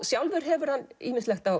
sjálfur hefur hann ýmislegt á